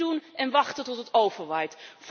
Niks doen en wachten tot het overwaait.